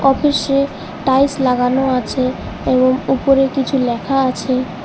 অফিসে টাইলস লাগানো আছে এবং উপরে কিছু লেখা আছে।